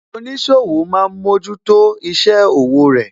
Oníṣòwò máa ń mójútó isẹ òwò rẹ